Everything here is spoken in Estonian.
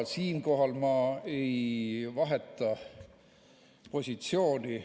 Siinkohal ma ei vaheta positsiooni.